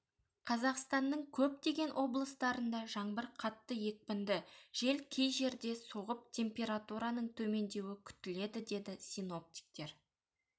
қазақстанның көптеген облыстарында жаңбыр қатты екпінді жел кей жерде соғып температураның төмендеуі күтіледі деді синоптиктер